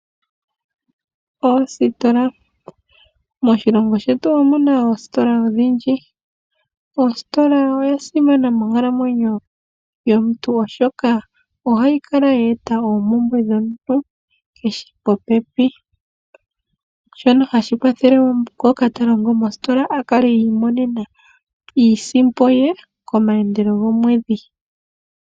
Oositola, moshilongo shetu omuna oositola odhindji. Ositola oya simana monkalamwenyo yomuntu oshoka ohayi kala ya eta oompumbwe dhomuntu keshe popepi. Shono hashi kwathele wo ngoka ta longo mositola akale imonena iisimpo ye komaandelo gomwedhi.